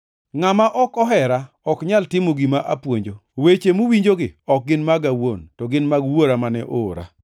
Ngʼama ok ohera ok nyal timo gima apuonjo. Weche muwinjogi ok gin maga awuon, to gin mag Wuora mane oora.